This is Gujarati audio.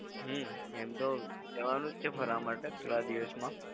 હમ્મ એમ તો જવનું જ છે ફરવા માટે થોડા દિવસમાં.